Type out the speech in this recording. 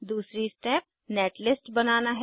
दूसरी step netlist बनाना है